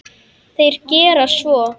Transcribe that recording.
Þeir gera svo.